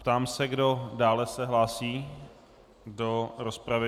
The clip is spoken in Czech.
Ptám se, kdo dále se hlásí do rozpravy.